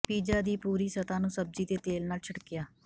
pizza ਦੀ ਪੂਰੀ ਸਤ੍ਹਾ ਨੂੰ ਸਬਜ਼ੀ ਦੇ ਤੇਲ ਨਾਲ ਛਿੜਕਿਆ